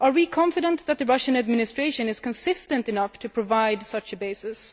Are we confident that the Russian administration is consistent enough to provide such a basis?